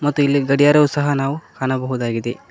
ಮತ್ತು ಇಲ್ಲಿ ಗಡಿಯಾರವು ಸಹ ನಾವು ಕಾಣಬಹುದಾಗಿದೆ.